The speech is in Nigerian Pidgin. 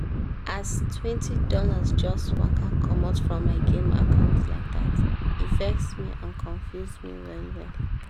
as twenty dollars just waka comot from my game account like that e vex me and confuse me well-well.